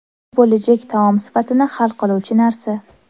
Bu bo‘lajak taom sifatini hal qiluvchi narsa.